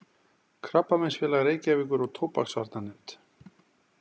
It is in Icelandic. Krabbameinsfélag Reykjavíkur og Tóbaksvarnanefnd.